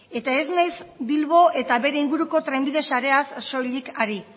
eta ez naiz bilbo eta bere inguruko trenbide sareaz soilik ari